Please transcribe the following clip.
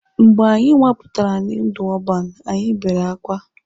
Mgbe anyị nwapụtara ndụ ọban, anyị bere akwa.